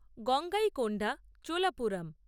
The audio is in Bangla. গঙ্গাইকোন্ডা চোলাপুরম